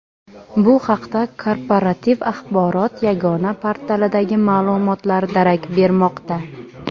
Bu haqda Korporativ axborot yagona portalidagi ma’lumotlar darak bermoqda.